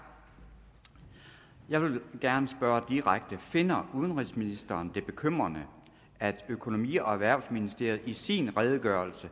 jeg vil gerne spørge direkte finder udenrigsministeren det bekymrende at økonomi og erhvervsministeriet i sin redegørelse